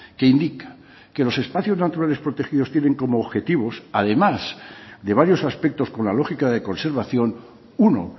que indica que los espacios naturales protegidos tienen como objetivos además de varios aspectos con la lógica de conservación uno